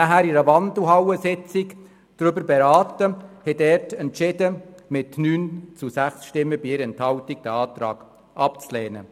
Anlässlich einer Wandelhallensitzung haben wir jedoch darüber beraten und haben mit 9 zu 6 Stimmen bei 1 Enthaltung entschieden, den Antrag abzulehnen.